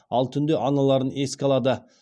ал түнде аналарын еске алады